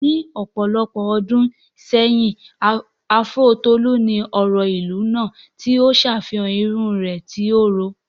Ní ọ̀pọ̀lọpọ̀ ọdún sẹ́yìn, áfúró Tolu ni ọ̀rọ̀ ìlú náà, tí ó ń ṣàfihàn irun rẹ̀ tí ó rọ̀.